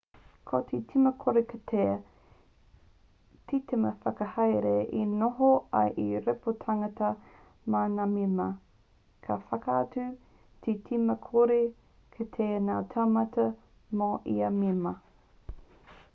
ko te tīma kore kitea te tīma whakahaere e noho ai hei rīpoatatanga mā ngā mema ka whakatū te tīma kore kitea ngā taumata mō ia mema